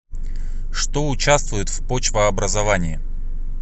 что участвуют в почвообразовании